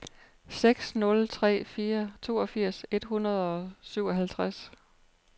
seks nul tre fire toogfirs et hundrede og syvoghalvtreds